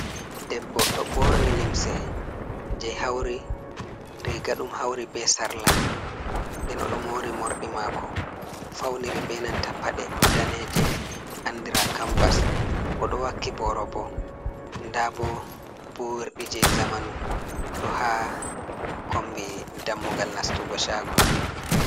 Debbo ɗo borni limse je hawri riga ɗum hawri be sarla, nden oɗo mori morɗi mako fauniri benanta paɗe daneje andira kamvas, oɗo wakki boro bo ndabo burdi je zamanu do ha kombi dammugal nastugo shago.